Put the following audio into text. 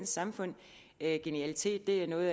samfund genialitet er noget